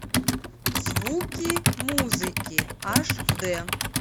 звуки музыки аш д